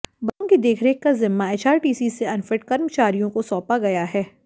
बसों की देखरेख का जिम्मा एचआरटीसी से अनफिट कर्मचारियों को सौंपा गया है